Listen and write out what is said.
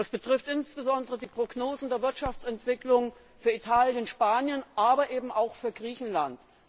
Das betrifft insbesondere die Prognosen der Wirtschaftsentwicklung für Italien und Spanien, aber eben auch für Griechenland.